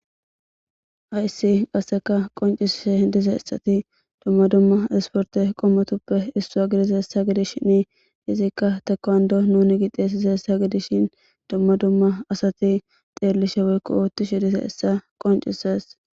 Hayssi asakka qoncccisside dizayssathi dumma dumma ispporththe qomotuppe issuwa gidizayssa gidishini ethikka tekkonddo nuunixeesizayssa gidishin dumma dumma asathi xeellishe woykko ooththishe dizayssa qonccissees.